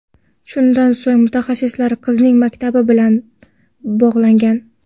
Shundan so‘ng mutaxassislar qizning maktabi bilan bog‘langan.